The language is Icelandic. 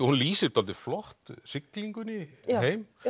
hún lýsir dálítið flott siglingunni heim